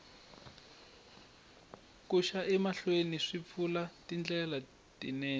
ku xa emahlweni swi pfula tindlela tinene